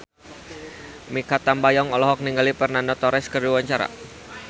Mikha Tambayong olohok ningali Fernando Torres keur diwawancara